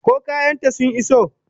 Ko kayan ta sun iso?